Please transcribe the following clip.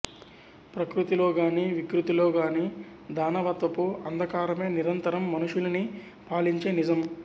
ప్రకృతి లోగాని వికృతిలోగాని దానవత్వపు అందకారమే నిరంతరం మనుషులినీ పాలించే నిజం